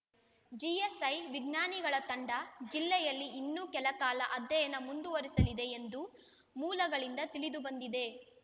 GSI ವಿಜ್ಞಾನಿಗಳ ತಂಡ ಜಿಲ್ಲೆಯಲ್ಲಿ ಇನ್ನೂ ಕೆಲಕಾಲ ಅಧ್ಯಯನ ಮುಂದುವರಿಸಲಿದೆ ಎಂದು ಮೂಲಗಳಿಂದ ತಿಳಿದುಬಂದಿದೆ